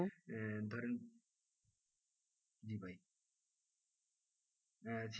আহ ধরেন জি ভাই হ্যাঁ,